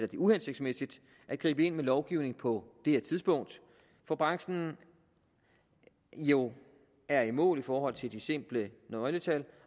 det uhensigtsmæssigt at gribe ind med lovgivning på det her tidspunkt hvor branchen jo er i mål i forhold til de simple nøgletal